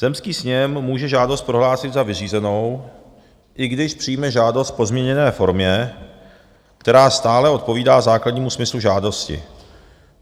Zemský sněm může žádost prohlásit za vyřízenou, i když přijme žádost v pozměněné formě, která stále odpovídá základnímu smyslu žádosti.